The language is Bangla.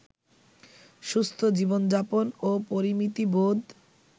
সুস্থ জীবনযাপন ও পরিমিতিবোধ